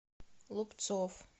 лупцов